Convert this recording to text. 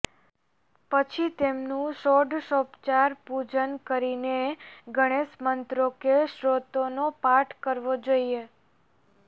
પછી તેમનું ષોડશોપચાર પૂજન કરીને ગણેશ મંત્રો કે સ્ત્રોતોનો પાઠ કરવો જોઈએ